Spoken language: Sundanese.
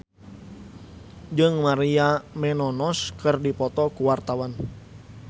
Rangga Almahendra jeung Maria Menounos keur dipoto ku wartawan